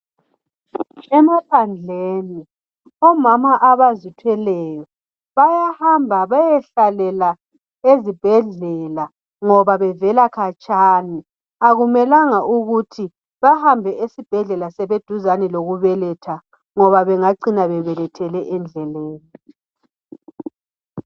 Emaphandleni omama abazithweleyo. Bayahamba bayehlalela ezibhedlela ngoba bevela khatshana akumelanga ukuthi bahambe esibhedlela sebeduzane lokubeletha. Ngoba bengacina bebelethele endleleni.